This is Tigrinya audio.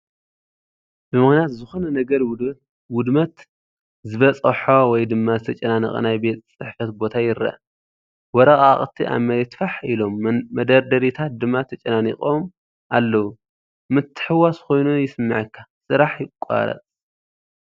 ብምኽንያት ዝኾነ ነገር ውድመት ዝበፅሖ ወይ ድማ ዝተጨናነቐ ናይ ቤት ፅሕፈት ቦታ ይረአ፤ ወረቓቕቲ ኣብ መሬት ፋሕ ኢሎም መደርደሪታት ድማ ተጨናኒቖም ኣለዉ። ምትሕውዋስ ኮይኑ ይስምዓካ ስራሕ ይቋረጽ።